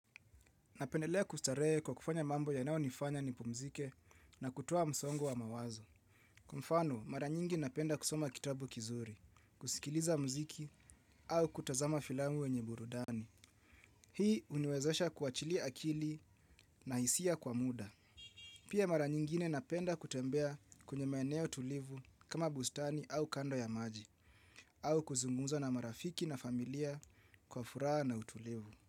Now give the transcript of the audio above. Napendelea kustarehe kwa kufanya mambo yanao nifanya nipumzike na kutoa msongo wa mawazo. Kwa mfano, mara nyingi napenda kusoma kitabu kizuri, kusikiliza mziki au kutazama filamu wenye burudani. Hii uniwezesha kuwachilia akili na hisia kwa muda. Pia mara nyingine napenda kutembea kwenye maeneo tulivu kama bustani au kando ya maji, au kuzungumza na marafiki na familia kwa furaha na utulivu.